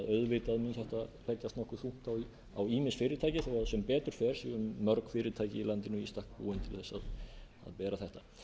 þetta legðist nokkuð þungt á ýmis fyrirtæki en sem betur fer eru mörg fyrirtæki í landinu í stakk búin til að vera þetta